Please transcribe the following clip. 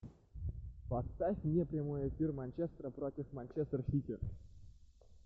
поставь мне прямой эфир манчестера против манчестер сити